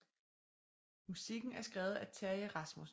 Musikken er skrevet af Terji Rasmussen